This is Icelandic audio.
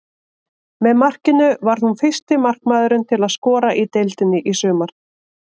Með markinu varð hún fyrsti markmaðurinn til að skora í deildinni í sumar.